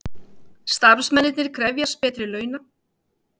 Starfsmennirnir krefjast betri launa